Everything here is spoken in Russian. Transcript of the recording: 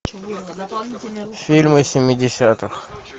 фильмы семидесятых